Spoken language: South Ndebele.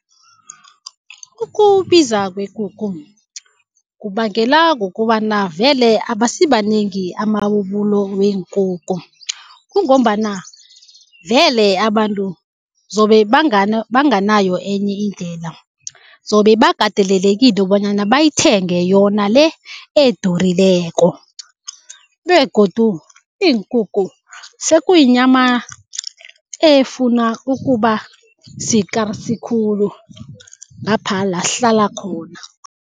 Ukubiza kwekukhu kubangela kukobana vele abasibanengi amabubulo weenkukhu. Kungombana vele abantu zobe banganayo enye indlela, zobe bakatelelekile bonyana bayithenge yona le edurileko begodu iinkukhu sekuyinyama efuna ukuba sikarsi khulu ngapha la sihlala khona.